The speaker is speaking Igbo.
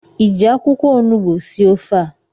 ị ji akwụkwọ onugbu sie ofe a?